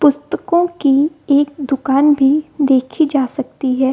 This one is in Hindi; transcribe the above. पुस्तकों की एक दुकान भी देखी जा सकती है ।